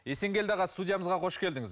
есенгелді аға студиямызға қош келдіңіз